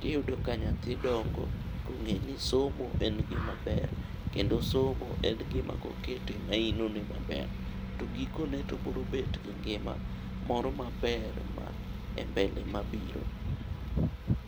.Tiyudo ka nyathi dongo kong'e ni somo en gima ber ,kendo somo en gima kokete mainone maber ,to gikone to obiro bet gi ngima moro maber ma e mbele mabiro.